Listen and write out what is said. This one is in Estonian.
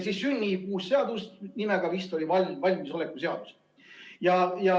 Siis sünnib uus seadus, mille nimi on vist valmisoleku seadus.